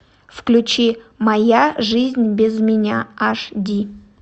включи моя жизнь без меня аш ди